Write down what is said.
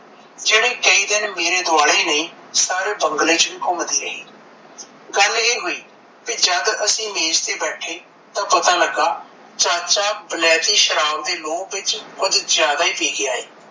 ਜਿਹੜੀ ਕਈ ਦਿਨ ਮੇਰੇ ਦੁਆਲੇ ਨਹੀਂ ਸਾਰੇ ਬੰਗਲੇ ਚ ਵੀ ਘੁਮਦੀ ਰਹਿ ਗੱਲ ਇਹ ਹੋਈ ਬੀ ਜਦ ਅਸੀਂ ਮੇਜ਼ ਤੇ ਬੈਠੇ ਤਾਂ ਪਤਾ ਲੱਗਾ ਚਾਚਾ ਵਲੈਤੀ ਸ਼ਰਾਬ ਦੇ ਲੋਭ ਵਿੱਚ ਕੁਝ ਜਿਆਦਾ ਹੀ ਪੀ ਗਿਆ ਏ